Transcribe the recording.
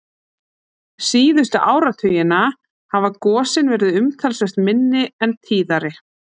Síðustu áratugina hafa gosin verið umtalsvert minni en tíðari.